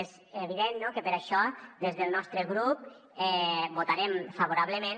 és evident que per això des del nostre grup hi votarem favorablement